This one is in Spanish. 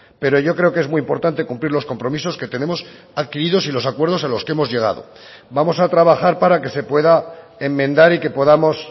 pero yo creo que es muy importante cumplir los compromisos que tenemos adquiridos y los acuerdos a los que hemos llegado vamos a trabajar para que se pueda enmendar y que podamos